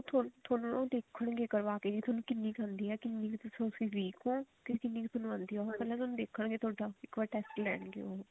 ਥੋਨੂੰ ਥੋਨੂੰ ਨਾ ਦੇਖਣ ਗੇ ਕਰਵਾ ਕੇ ਵੀ ਥੋਨੂੰ ਕਿੰਨੀ ਕੁ ਆਉਂਦੀ ਹੈ ਕਿੰਨੀ ਕੁ ਤੁਸੀਂ ਉਸ ਚ weak ਹੋ ਕਿੰਨੀ ਕੁ ਥੋਨੂੰ ਆਉਂਦੀ ਹੈ ਉਹ ਪਹਿਲਾਂ ਥੋਨੂੰ ਦੇਖਣ ਗੇ ਇੱਕ ਵਾਰੀ test ਲੈਣਗੇ